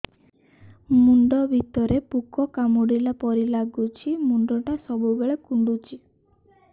ମୁଣ୍ଡ ଭିତରେ ପୁକ କାମୁଡ଼ିଲା ପରି ଲାଗୁଛି ମୁଣ୍ଡ ଟା ସବୁବେଳେ କୁଣ୍ଡୁଚି